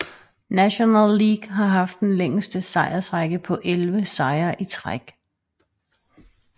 National League har haft den længste sejrsrække på 11 sejre i træk